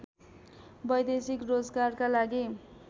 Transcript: वैदेशिक रोजगारका लगि